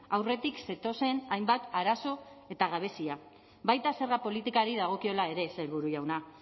aurretik zetozen hainbat arazo eta gabezia baita zerga politikari dagokiola ere sailburu jauna